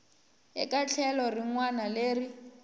eka tlhelo rin wana leri